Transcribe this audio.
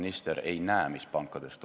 Nii et igal juhul neli aastaaega.